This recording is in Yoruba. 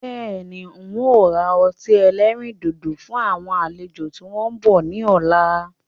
Bẹ́ẹ̀ni, ń ó ra ọtí ẹlẹ́rìndòdò fún àwọn àlejò tí wọn bọ̀ ni ọ̀la.